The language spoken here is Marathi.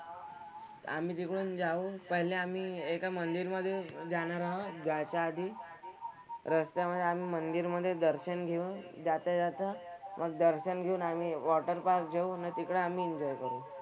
आम्ही तिकडून जाऊन पहिले आम्ही एका मंदिरमध्ये जाणार आहोत जायच्या आधी. रस्त्यामधे आम्ही मंदिरमध्ये दर्शन घेऊन जाता जाता मग दर्शन घेऊन आम्ही water park जाऊ न तिकडे आम्ही enjoy करू.